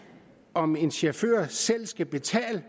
om en chauffør selv skal betale